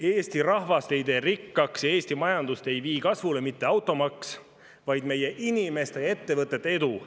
Eesti rahvast ei tee rikkaks ja Eesti majandust ei vii kasvule mitte automaks, vaid meie inimeste ja ettevõtete edu.